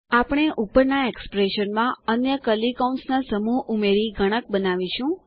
આપણે ઉપરના એક્સપ્રેશનમાં અન્ય કર્લી કૌંસના સમૂહ ઉમેરી ગણક બનાવીશું